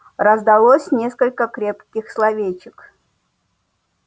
раздалось несколько крепких словечек